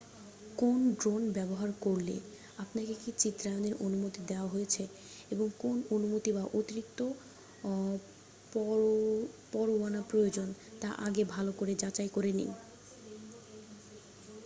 কোন ড্রোন ব্যবহার করলে আপনাকে কী চিত্রায়নের অনুমতি দেওয়া হয়েছে এবং কোন অনুমতি বা অতিরিক্ত পরত্তয়ানা প্রয়োজন তা আগেই ভালো করে যাচাই করে নিন